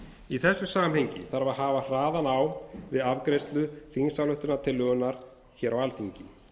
í þessu samhengi þarf að hafa hraðan á við afgreiðslu þingsályktunartillögunnar hér á alþingi